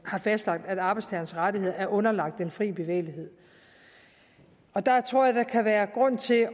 har fastlagt at arbejdstagerens rettigheder er underlagt den frie bevægelighed og der tror jeg at der kan være grund til